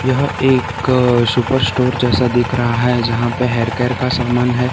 यह एक सुपरस्टोर जैसा दिख रहा है जहां पे हेयर केयर का समान है।